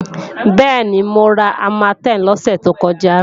Bẹ́ẹ̀ni, mo ra Armatem lọ́sẹ̀ tó kọjá